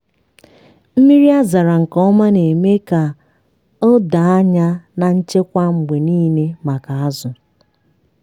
mmiri dọ adọ na-akwalite ọrịa na anwụnta n'akụkụ ugbo azụ.